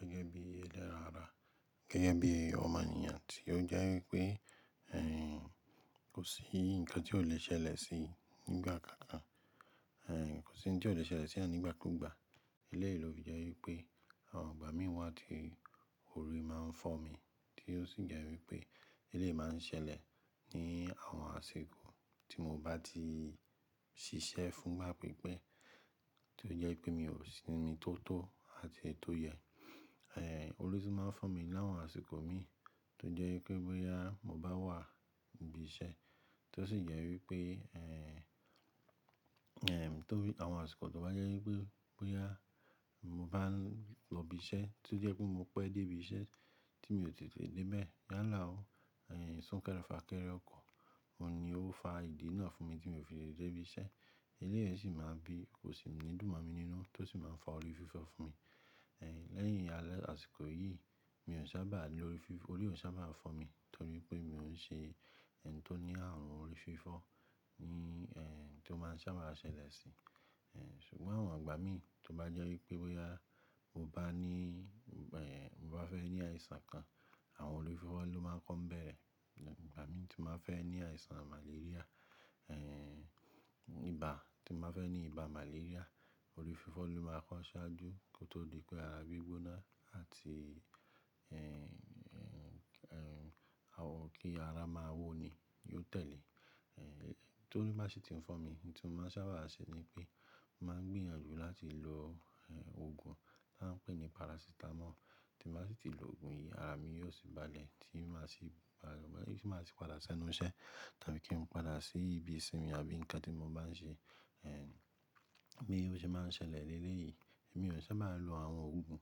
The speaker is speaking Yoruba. Gẹ́gẹ́ bí ẹlẹ́ran ara, gẹ́gẹ́ bí ọmọnìyàn tí ó jẹ́ wípé ẹ̀in kò sí ǹkan tí ò le ṣẹlẹ̀ sí nígbà kan kan, ẹ̀ kò sí oun tí ò le ṣẹlẹ̀ sí eyan nigba ku gbà. Elẹ́yìí ló fi jẹ́ wípé àwọn igba mí wá tí ori máa ń fọ́ mi tí ó sì jẹ́ wípé elẹ́yìí máa ń ṣẹlẹ̀ ní àwọn àsìkò tí mo bá ti ṣiṣẹ́ fún igbà pípẹ́ tí ó jẹ́ wípé mi ò sí ní mi tó tó àti tó yẹ. Ẹ̀ oun lo tun máa ń fọ́ mi láwọn àsìkò mi tó jẹ́ wípé bóyá mo bá wà níbi iṣẹ́ tí ó sì jẹ́ wípé ẹ̀m tó bí àwọn àsìkò tó bá jẹ́ wípé bóyá mo bá lọ ibi iṣẹ́ tí ó jẹ́ wípé mo pẹ́ dé ibi iṣẹ́ tí mi ò tètè dé bẹ́ẹ̀ yálà ó, ẹ̀hn, sún kẹ́rẹ́ fà kẹ́rẹ́ ọkọ̀, òun ni ó fa ìdí náà fún mi tí mi ò fi lè tete de ibi iṣẹ́. Elẹ́yìí sì máa ń bí, kò sì ní dùnmọ́ mi nínú tó sì máa ń fa orí fífọ́ fún mi. Ẹ̀ lẹ́yìn àsìkò yìí mi ò n sábà ní orí fífọ́, orí ò sábà máa ń fọ́ mi torí pé mi ò ń ṣe ẹ̀ n tó ní arun orí fífọ́ ní ẹ̀ tó máa sábà ṣẹlẹ̀ sí. Ẹ̀ ṣùgbọ́n àwọn àgbà mí tó bá jẹ́ wípé bóyá mo bá ní ẹ̀ mo bá fẹ́ ní àìsàn kan, àwọn orí fífọ́ ló máa ń kọ́ ń bẹ̀rẹ̀. Igba mí tí mo máa fẹ́ ní àìsàn màlaríà ẹ̀ ibà tí mo máa fẹ́ ní ibà màlaria orí fífọ́ ló máa ń kọ́ ṣáájú kí ó tó di pé ara gbí gbóná àti ẹ̀ àwọn kí ara máa wó ni, yóò tẹ̀lé. Tó ori ba sì ti ń fọ́ mi n tí mo máa sábà ṣe ni pé mo máa ń gbìyànjú láti lo ẹ̀ òògùn ta ń pè ní parasítámọ̀ tí mo bá sì ti lo òògùn yìí ara mi yóò sì bá lẹ̀ tí mo sì bá, ti máa sì padà sẹ́nu iṣẹ́ tàbí kí n padà sí ibi ìsinmi àbí ǹkan tí mo bá ń ṣe. Ẹ̀ bí ó ṣe máa ń ṣẹlẹ̀ lelé yìí mi ò n saba ń lo àwọn òògùn,